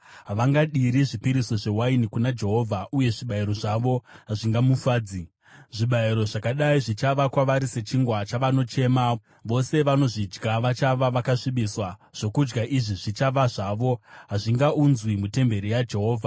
Havangadiri zvipiriso zvewaini kuna Jehovha, uye zvibayiro zvavo hazvingamufadzi. Zvibayiro zvakadai zvichava kwavari sechingwa chavanochema; vose vanozvidya vachava vakasvibiswa. Zvokudya izvi zvichava zvavo; hazvingaunzwi mutemberi yaJehovha.